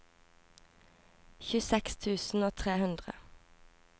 tjueseks tusen og tre hundre